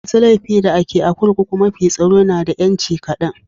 Masun laifi da ke a'kurkukun mafi tsaro na da yanci kadan.